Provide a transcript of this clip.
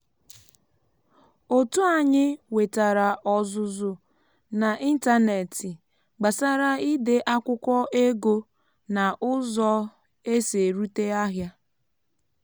otu anyị wetara ọzụzụ n’ịntanetị gbasara ide akwụkwọ ego na ụzọ esi erute ahịa